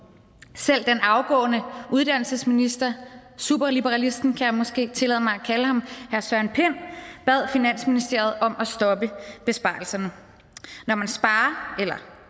selv den afgående uddannelsesminister superliberalisten kan jeg måske tillade mig at kalde ham herre søren pind bad finansministeriet om at stoppe besparelserne når man sparer eller